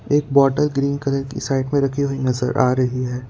एक bottle green colour की side में रखी हुई नजर आ रही है।